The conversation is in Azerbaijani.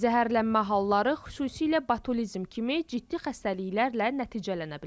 Zəhərlənmə halları xüsusilə botulizm kimi ciddi xəstəliklərlə nəticələnə bilər.